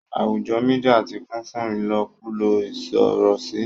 àwùjọ media ti kún fún ilokulo isorosi.